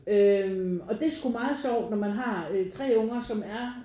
Øh og det sgu meget sjovt når man har 3 unger som er